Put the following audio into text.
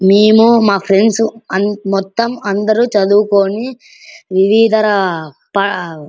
మేము మా ఫ్రెండ్స్ మొత్తం అందరూ చదువుకొని వివిధ --